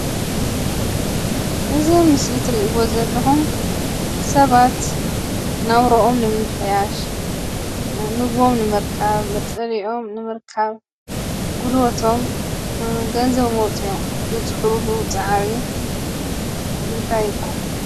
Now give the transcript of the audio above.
እዚ ምስሊ እትሪእዎ ዘለኹም ሰባት ናብርኦም ንምምሕያሽ፣ ምግቦም ንምርካብ፣ መፅለሊኦም ንምርካብ ጉልበቶም ገንዘቦም ኣዉፂኦም ዝፅዕርሉ ፃዕሪ እንታይ ይብሃል?